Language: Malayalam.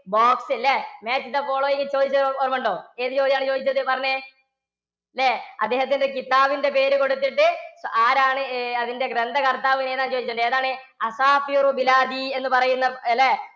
box ല്ലേ match the following ചോദിച്ചതു ഓര്‍മ്മണ്ടോ? ഏതു ചോദ്യാണ് ചോദിച്ചതു പറഞ്ഞെ. ല്ലേ? അദ്ദേഹത്തിന്‍ടെ കിത്താബിന്‍ടെ പേരു കൊടുത്തിട്ട് ആരാണ് അഹ് അതിന്‍ടെ ഗ്രന്ഥകര്‍ത്താവ്‌ ചോദിച്ചത്? ഏതാണ് എന്നുപറയുന്ന അല്ലേ?